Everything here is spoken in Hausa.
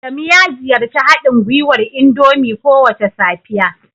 Adamu ya ziyarci haɗin gwiwar indomie kowace safiya